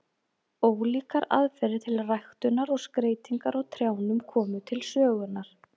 Ólíkar aðferðir til ræktunar og skreytingar á trjánum komu til sögunnar.